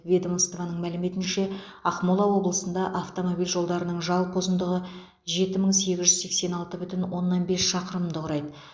ведомстваның мәліметінше ақмола облысында автомобиль жолдарының жалпы ұзындығы жеті мың сегіз жүз сексен алты бүтін оннан бес шақырымды құрайды